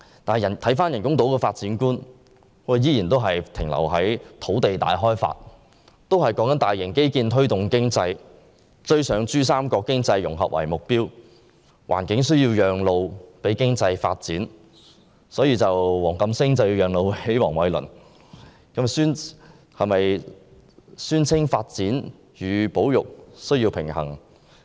但是，人工島的發展觀卻依然停留在土地大開發，利用大型基建推動經濟，以追上珠三角經濟融合為目標，令環境需要讓路予經濟發展——所以黃錦星需要讓路予黃偉綸——但宣稱發展與保育需要平衡。